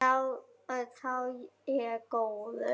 Sá er góður.